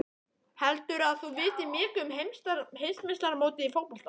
Heldurðu að þú vitir mikið um heimsmeistaramótið í fótbolta?